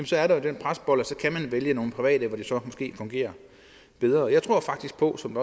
så er der jo den presbold at vælge nogle private hvor det så måske fungerer bedre og jeg tror faktisk på som